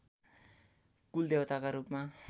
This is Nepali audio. कुलदेवताका रूपमा